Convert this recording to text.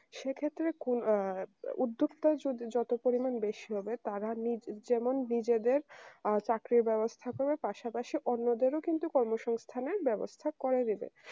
সেক্ষেত্রে কোন আ উদ্যোক্তা যত পরিমাণ বেশি হবে তারা নি যেমন নিজেদের আ চাকরির ব্যবস্থা করবে পাশাপাশি অন্যদেরও কিন্তু কর্মসংস্থানের ব্যবস্থা করে দেবে